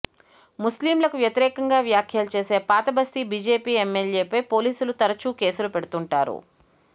ముస్లింలకు వ్యతిరేకంగా వ్యాఖ్యలు చేసే పాతబస్తీ బీజేపీ ఎమ్మెల్యేపై పోలీసులు తరచూ కేసులు పెడుతుంటారు